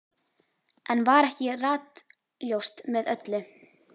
Enn var ekki ratljóst með öllu.